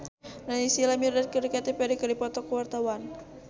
Naysila Mirdad jeung Katy Perry keur dipoto ku wartawan